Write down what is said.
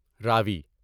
راوی